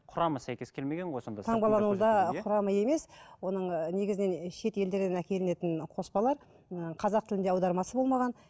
құрамы сәйкес келмеген ғой сонда құрамы емес оның негізінен шетелдерден әкелінетін қоспалар ыыы қазақ тілінде аудармасы болмаған